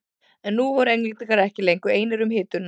En nú voru Englendingar ekki lengur einir um hituna.